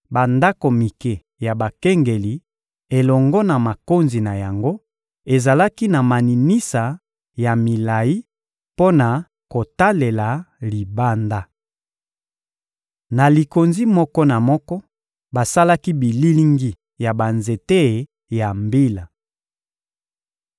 Bandako mike ya bakengeli elongo na makonzi na yango ezalaki na maninisa ya milayi mpo na kotalela libanda. Na likonzi moko na moko, basalaki bililingi ya banzete ya mbila.